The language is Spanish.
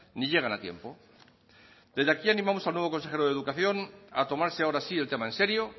ni llegan a tiempo desde aquí animamos al nuevo consejero de educación a tomarse ahora sí el tema en serio